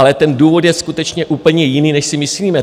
Ale ten důvod je skutečně úplně jiný, než si myslíme.